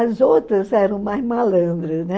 As outras eram mais malandras, né?